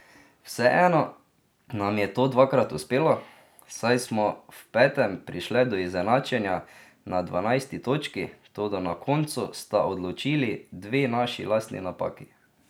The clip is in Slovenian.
Vseeno nam je to dvakrat uspelo, saj smo v petem prišle do izenačenja na dvanajsti točki, toda na koncu sta odločili dve naši lastni napaki.